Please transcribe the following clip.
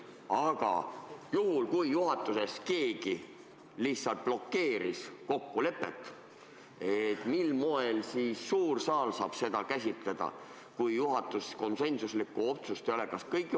Aga juhul, kui juhatuses keegi lihtsalt blokeeris kokkulepet, siis mil moel saab suur saal seda käsitleda, kui juhatuses konsensuslikku otsust ei ole?